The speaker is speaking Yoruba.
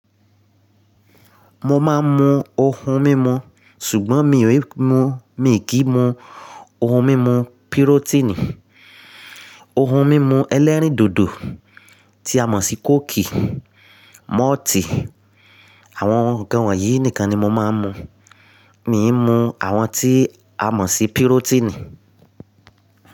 Mo máa ń mu ohun mímu ṣùgbọ́n mi ò mú, mi kì í mu ohun mímu pírótínì. Ohun mímu ẹlẹ́rìndòdò tí a mọ̀ sí kóòkì, mọ́ọ̀tì àwọn nnkan wọ̀nyí nìkan ni mo máa ń mu. Mi mú àwọn tí a mọ̀ sí pírótínì.